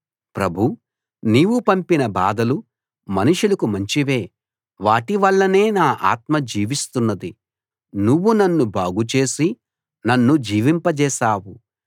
ప్రభూ నీవు పంపిన బాధలు మనుషులకు మంచివే వాటి వల్లనే నా ఆత్మ జీవిస్తున్నది నువ్వు నన్ను బాగు చేసి నన్ను జీవింపజేశావు